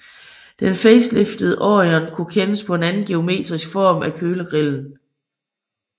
Den faceliftede Orion kunne kendes på en anden geometrisk form af kølergrillen